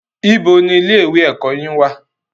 Ibo ni ilé ìwé ẹ̀kọ́ yín wà?